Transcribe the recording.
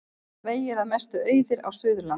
Vegir að mestu auðir á Suðurlandi